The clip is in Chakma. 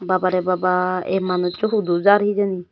babare baba ey manusso hudu jar hijeni.